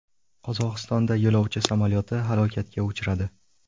Qozog‘istonda yo‘lovchi samolyoti halokatga uchradi.